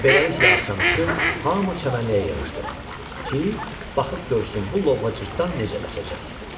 Beləliklə axşamüstü hamı çəmənliyə yığışdı ki, baxıb görsün bu lovğa cırtdan necə qaçacaq.